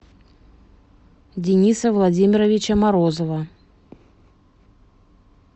дениса владимировича морозова